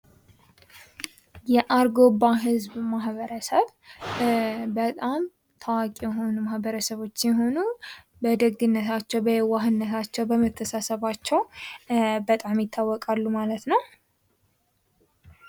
የአርጎባ ህዝብ ማህበረሰብ በጣም ታዋቂ የሆኑ ማህበረሰቦች ሲሆኑ በደግነታቸው ፣በየዋህነታቸው፣ በመተሳሰባቸው በጣም ይታወቃሉ ማለት ነው።